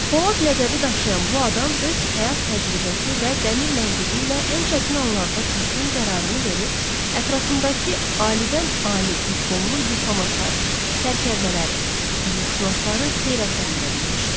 Polad ləqəbi daşıyan bu adam öz həyat təcrübəsi və dəmir məntiqi ilə ən çətin anlarda düzgün qərarını verib, ətrafındakı alidən ali diplomlu diplomatları, sərkərdələri, hüquqşünasları heyrətləndirə bilmişdi.